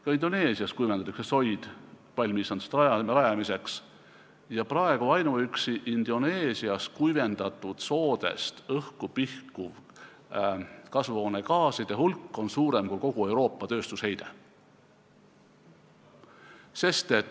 Ka Indoneesias kuivendatakse soid palmiistanduste rajamiseks ja praegu on ainuüksi Indoneesias kuivendatud soodest õhku pihkuv kasvuhoonegaaside hulk suurem kui kogu Euroopa tööstusheide.